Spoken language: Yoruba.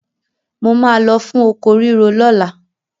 Mo máa lọ fún oko rírò lọ́la.